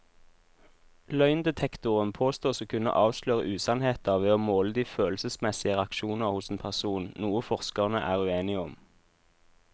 Løgndetektoren påstås å kunne avsløre usannheter ved å måle de følelsesmessige reaksjoner hos en person, noe forskerne er uenige om.